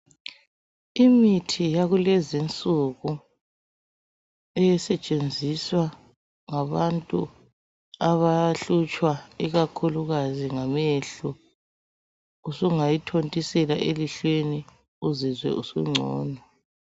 Imithi yakulezi insuku. Esetshenziswa ngabantu, abahlutshwa, ikakhulukazi ngamehlo. Usungayithontisela emehlweni. Uzizwe usungcono.